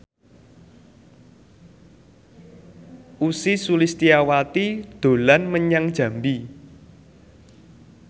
Ussy Sulistyawati dolan menyang Jambi